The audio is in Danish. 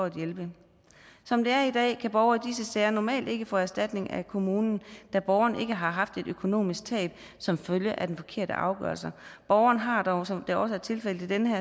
at hjælpe som det er i dag kan borgere i disse sager normalt ikke få erstatning af kommunen da borgeren ikke har haft et økonomisk tab som følge af den forkerte afgørelse borgeren har dog som det også er tilfældet i denne